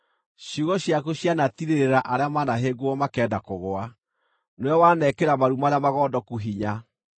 Ciugo ciaku cianatiirĩrĩra arĩa manahĩngwo makenda kũgũa; nĩwe wanekĩra maru marĩa magondoku hinya.